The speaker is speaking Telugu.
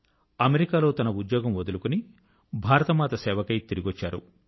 అమెరికా లో తన ఉద్యోగం వదులుకొని భారత మాత సేవకై తిరిగి వచ్చారు